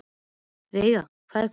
Veiga, hvað er klukkan?